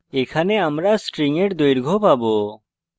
এখানে আমরা string in দৈর্ঘ্য পাবো